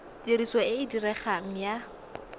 tiriso e e diregang ya